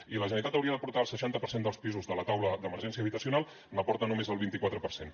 i la generalitat hauria d’aportar el seixanta per cent dels pisos de la taula d’emergència habitacional n’aporta només el vint i quatre per cent